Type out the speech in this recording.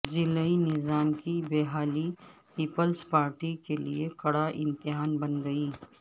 ضلعی نظام کی بحالی پیپلزپارٹی کیلئے کڑا امتحان بن گئی